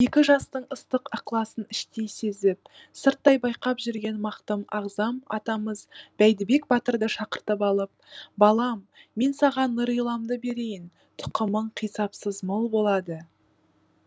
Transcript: екі жастың ыстық ықыласын іштей сезіп сырттай байқап жүрген мақтым ағзам атамыз бәйдібек батырды шақыртып алып балам мен саған нұриламды берейін тұқымың қисапсыз мол болады